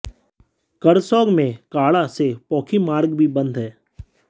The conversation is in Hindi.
करसोग में कांढा से पोखी मार्ग भी बंद है